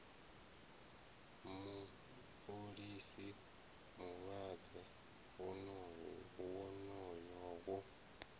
mu fholisa mulenzhe wonoyo wo